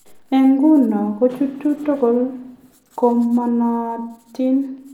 En nguno ko chuto tukul ko manaatin